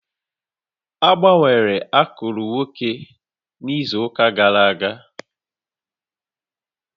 Agbanwere akụrụ nwoke a n'izu ụka gara aga